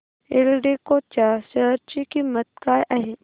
एल्डेको च्या शेअर ची किंमत काय आहे